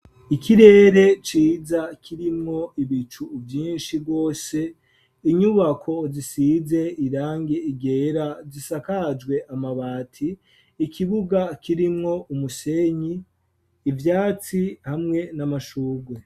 Ikirere ciza kirimwo ibicu vyinshi bwose inyubako zisize irangi ryera zisakajwe amabati ikibuga kirimwo umusenyi ivyatsi hamwe n'amashurwe.